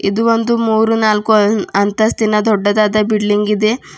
ಇದು ಒಂದು ಮೂರು ನಾಲ್ಕು ಅಂತಸ್ತಿನ ದೊಡ್ಡದಾದ ಬಿಲ್ಡಿಂಗ್ ಇದೆ.